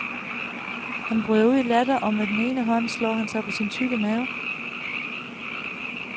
Han bryder ud i latter og med den ene hånd slår han sig på sin tykke mave.